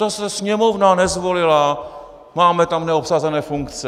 No zase Sněmovna nezvolila, máme tam neobsazené funkce.